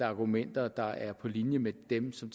er argumenter der er på linje med dem som